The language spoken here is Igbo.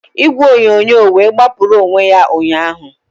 Igwe onyonyo wee gbapụrụ n'onwe ya ụnyahụ